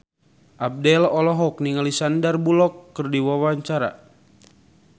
Abdel olohok ningali Sandar Bullock keur diwawancara